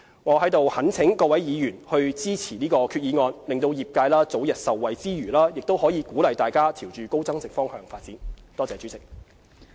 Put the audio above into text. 我在此懇請各位議員支持這項決議案，讓業界早日受惠之餘，也鼓勵大家朝高增值方向發展。